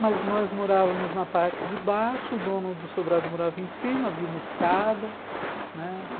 Mas nós morávamos na parte de baixo, o dono do sobrado morava em cima, havia uma escada, né?